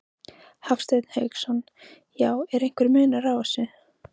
Hafsteinn Hauksson: Já, er einhver munur á þessu?